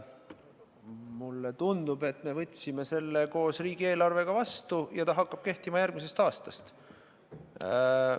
Mulle tundub, et me võtsime selle koos riigieelarvega vastu ja see hakkab kehtima järgmisest aastast.